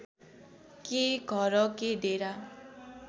के घर के डेरा